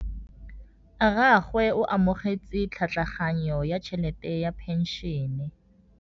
Rragwe o amogetse tlhatlhaganyô ya tšhelête ya phenšene.